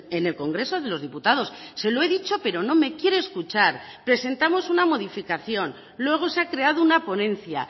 en el congreso de los diputados se lo he dicho pero no me quiere escuchar presentamos una modificación luego se ha creado una ponencia